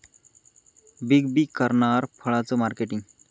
big B करणार फळांचं marketing